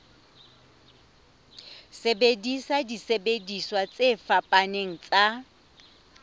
sebedisa disebediswa tse fapaneng tsa